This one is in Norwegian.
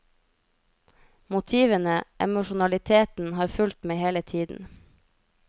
Motivene, emosjonaliteten, har fulgt meg hele tiden.